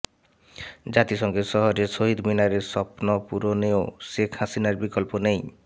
জাতিসংঘের শহরে শহীদ মিনারের স্বপ্ন পূরণেও শেখ হাসিনার বিকল্প নেই